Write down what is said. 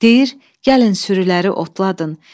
Deyir: Gəlin sürüləri otladın.